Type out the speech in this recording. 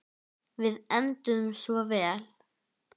Við enduðum svo vel.